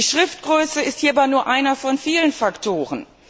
Die Schriftgröße ist hierbei aber nur einer von vielen Faktoren.